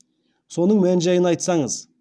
соның мән жәйін айтсаңыз